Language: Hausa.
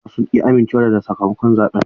Matasan sun ki amincewa da sakamakon zaɓen.